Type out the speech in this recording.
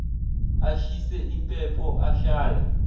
ashise impepho ashaye